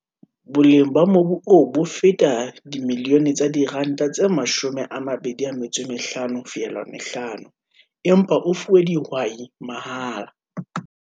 Boleng ba mobu oo bo feta R25.5 milione empa o fuwe dihwai mahala.